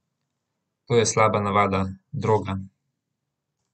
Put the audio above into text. To je slaba navada, droga.